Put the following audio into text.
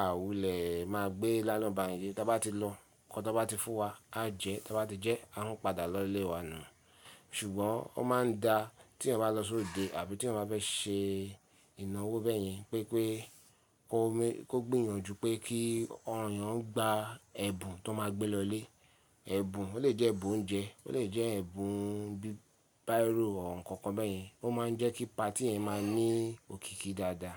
à wulẹ̀ máa gbé nylon bag yìí, tí a bá ti lọ, nkan tán bá ti fún wa, a jẹ, tí a bá ti jẹ, a n padà lọ ilé wa nù. Ṣùgbọ́n ó máa ń da tí èèyàn bá lọ sóde àbí tí ẹ bá fẹ́ ṣe ìnáwó bẹ́ẹ̀yẹn pé pé kó gbìyànjú pé kí àwon èèyàn gba ẹ̀bùn tán máa gbé lọlé. Ẹ̀bùn, ó lè jẹ́ ẹ̀bùn oúnjẹ, ó lè jẹ́ ẹ̀bùn bí biro or nkankan bẹ́ẹ̀yẹn, ó máa ń jẹ́ kí patí yẹn máa ní òkìkí dáadáa.